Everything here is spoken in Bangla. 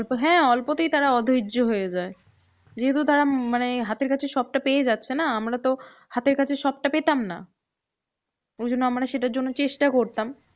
হম অল্প হ্যাঁ অল্পতেই তারা অধৈর্য হয়ে যায়। যেহেতু তারা মানে হাতের কাছে সবটা পেয়ে যাচ্ছে না, আমরা তো হাতের কাছে সবটা পেতাম না। ঐজন্য আমরা সেটার জন্য চেষ্টা করতাম।